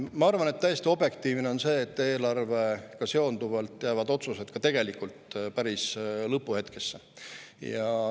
Ma arvan, et täiesti objektiivne on see, et eelarvega seonduvalt jäävad otsused ka tegelikult päris lõpuhetkesse.